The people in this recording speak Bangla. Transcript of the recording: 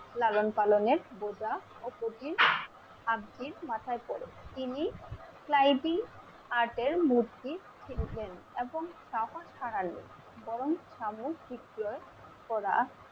লালন পালন এর বোঝা অব্জীর মাথায় পড়ে। তিনি আটের মধ্যেই ফিরবেন এবং ছাড়ালে বরং